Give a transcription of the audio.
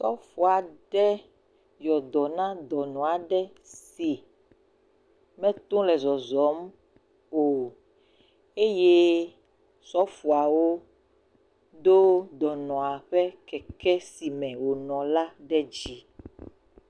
Sɔfo aɖe yɔ dɔ na dɔnɔ aɖe si mete ŋu le zɔzɔm o eye sɔfoawo do dɔnɔa ƒe keke si me wònɔ la ɖe dzi.